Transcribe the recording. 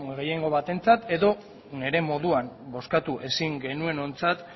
gehiengo batentzatedo nire moduan bozkatu ezin genuenontzat